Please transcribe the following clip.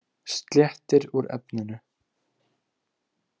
Sléttir úr efninu.